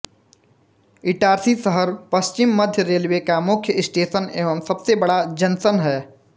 इटारसी शहर पश्चिम मध्य रेल्वे का मुख्य स्टेशन एवं सबसे बड़ा जंक्शन है